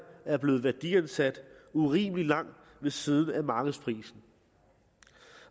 er blevet værdiansat urimelig langt ved siden af markedsprisen